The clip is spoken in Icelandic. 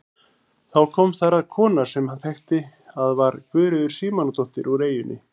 Þá kom þar að kona sem hann þekkti að var Guðríður Símonardóttir úr eyjunni.